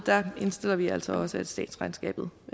indstiller vi altså også at statsregnskabet